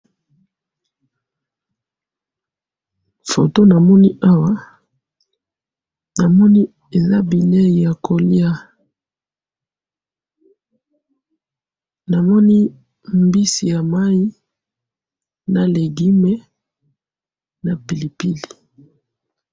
photo na moni awa na moni eza bileyi yako lia na moni mbisi ya mayi na legime na pilipili